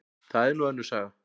Það er nú önnur saga.